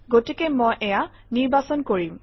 গতিকে মই এয়া নিৰ্বাচন কৰিম